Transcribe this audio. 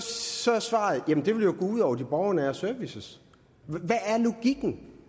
så er svaret jamen det vil jo gå ud over de borgernære services hvad er logikken